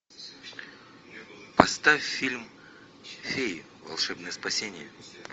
поставь фильм феи волшебное спасение